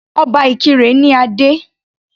Obá Ìkirè ní adé.